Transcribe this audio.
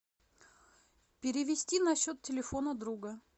перевести на счет телефона друга